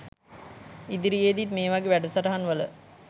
ඉදිරියේදිත් මේ වගේ වැඩසටහන් වල